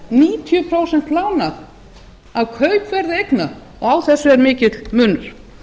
níutíu prósent lánað af kaupverði eigna og á þessu er mikill munur